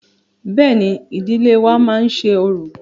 Bẹ́ẹ̀ni, ìdílé wa má ń ṣe orò.